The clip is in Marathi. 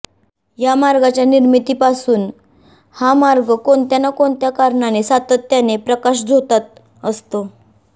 या मार्गाच्या निर्मितीपासून हा मार्ग कोणत्या ना कोणत्या कारणाने सातत्याने प्रकाशझोतात असतो